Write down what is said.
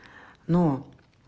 ну